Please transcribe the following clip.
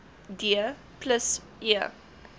d plus e